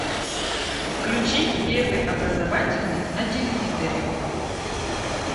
включи первый образовательный на телевизоре